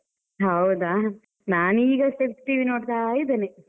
ಹೌದಾ, ನಾನು ಈಗ ಅಷ್ಟೇ ಟಿವಿ ನೋಡ್ತಾ ಇದ್ದೇನೆ.